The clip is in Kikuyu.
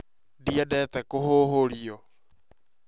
Ndiendete kũhũhũrio